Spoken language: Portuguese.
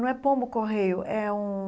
Não é pombo-correio, é um...